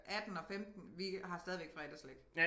18 og 15 vi har stadigvæk fredagsslik